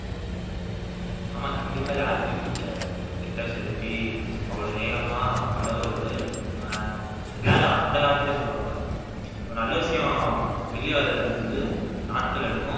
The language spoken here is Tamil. ஆமா கண்டிப்பா யாருக்குமே பிடிக்ககாதில்ல கெட்ட செய்தி போய் அவ்வளவு வேகமா பரவுறது அஹ் எல்லாரும் அந்த காலத்துலேயே சொல்லுவாங்க ஒரு நல்ல விஷயம் வெளிய வர்றது வந்து நாட்கள் எடுக்கும்